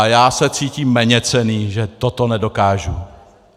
A já se cítím méněcenný, že toto nedokážu.